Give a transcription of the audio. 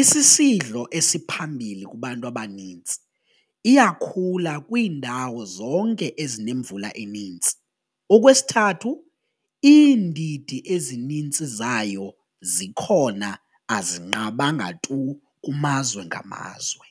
isisidlo esiphambili kubantu abanintsi, iyakhula kwiindawo zonke ezinemvula enintsi. Okwesithathu, iindidi ezinintsi zayo zikhona azinqabanga tu kumazwe ngamazwe.